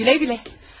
Gülə-gülə.